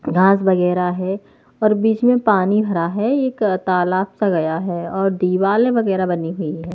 घास वगैरह है और बीच में पानी भरा है एक तालाब सा गया है और दीवाल वगैरह बनी हुई है।